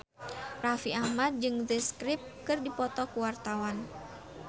Raffi Ahmad jeung The Script keur dipoto ku wartawan